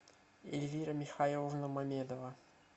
эльвира михайловна мамедова